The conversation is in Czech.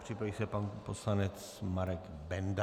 Připraví se pan poslanec Marek Benda.